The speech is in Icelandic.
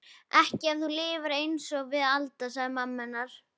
Ekki ef þú lifir einsog við Alda, segir mamma hennar.